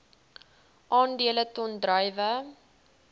aandele ton druiwe